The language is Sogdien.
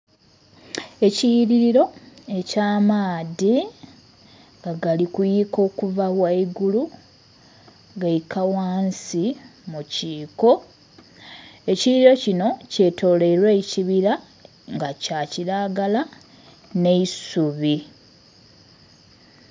Ekiyighiriro eky'amaadhi nga gali kuyuyika okuva ghangulu gaika ghansi mukiko, ekiyighiriro kinho kyetolweilwa ekibira nga kyakiragala nh'eisubi.